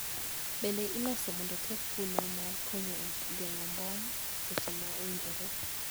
Bende iloso mondo oter kuno mar konyo e geng`o mbom seche ma owinjore